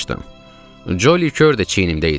Coli kör də çiynimdə idi.